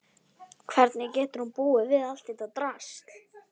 Hvernig getur hún búið við allt þetta drasl?